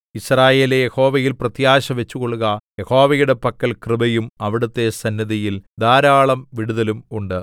യിസ്രായേലേ യഹോവയിൽ പ്രത്യാശ വച്ചുകൊള്ളുക യഹോവയുടെ പക്കൽ കൃപയും അവിടുത്തെ സന്നിധിയിൽ ധാരാളം വിടുതലും ഉണ്ട്